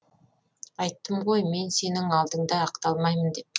айттым ғой мен сенің алдыңда ақталмаймын деп